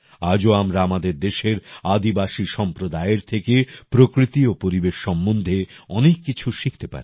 আজও আমরা আমাদের দেশের আদিবাসী সম্প্রদায়ের থেকে প্রকৃতি ও পরিবেশ সম্বন্ধে অনেক কিছু শিখতে পারি